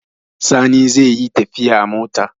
Sani zai yi tafiya a mota.